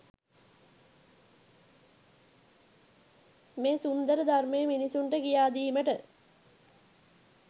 මේ සුන්දර ධර්මය මිනිසුන්ට කියා දීමට